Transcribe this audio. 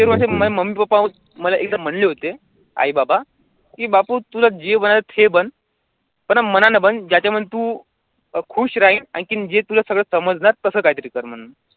ते माझे mummy papa एकदा म्हणले होते आई बाबा कि बापू तुला जे बनायचे ते बन पण मनाने बन ज्याच्यामध्ये तू खुश राहील आणखी जे तुला सगळं समजणार तसं काही तरी कर म्हण.